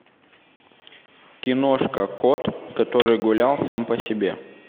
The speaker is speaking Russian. киношка кот который гулял сам по себе